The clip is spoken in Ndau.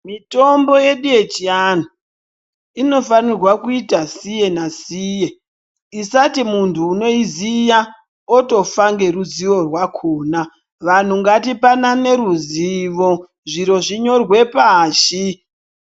Mitombo yedu yechiantu inofanirwa kuita siye nasiye. Isati muntu unoiziya otofa ngeruzivo rwakona. Vantu ngatipanane ruzivo, zviro zvinyorwe pashi.